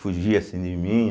fugia assim de mim.